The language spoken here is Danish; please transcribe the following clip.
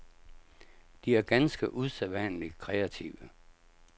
De er ganske usædvanlig kreative.